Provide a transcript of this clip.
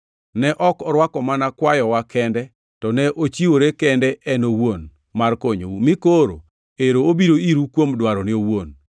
Ne ok orwako mana kwayowa kende, to ne ochiwore kende en owuon mar konyou, mi koro ero obiro iru kuom dwarone owuon.